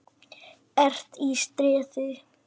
ERT Í STREÐI.